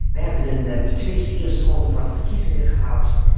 We hebben een betwiste eerste ronde van de verkiezingen gehad.